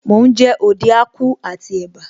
Mò ń jẹ Ode Akwu àti ẹ̀bá